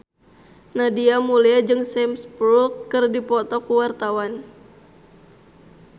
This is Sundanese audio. Nadia Mulya jeung Sam Spruell keur dipoto ku wartawan